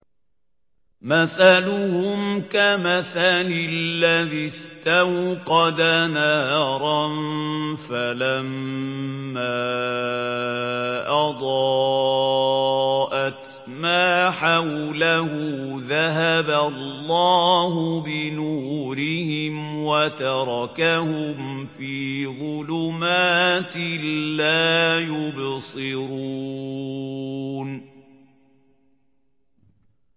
مَثَلُهُمْ كَمَثَلِ الَّذِي اسْتَوْقَدَ نَارًا فَلَمَّا أَضَاءَتْ مَا حَوْلَهُ ذَهَبَ اللَّهُ بِنُورِهِمْ وَتَرَكَهُمْ فِي ظُلُمَاتٍ لَّا يُبْصِرُونَ